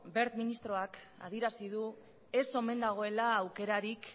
wert ministroak adierazi du ez omen dagoela aukerarik